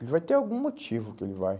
Ele vai ter algum motivo que ele vai.